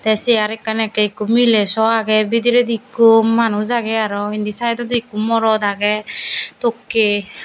te chair ekkan ekke ekku mile so agey bidiride ekku manuj agey te aro indi saidodi ekku morot agey tokke.